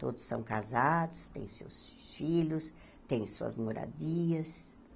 Todos são casados, têm seus filhos, têm suas moradias.